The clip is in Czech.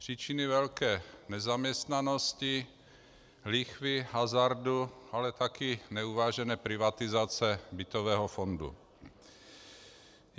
Příčiny velké nezaměstnanosti, lichvy, hazardu, ale také neuvážené privatizace bytového fondu.